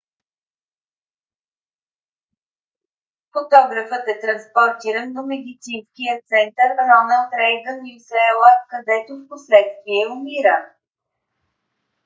фотографът е транспортиран до медицинския център роналд рейгън ucla където впоследствие умира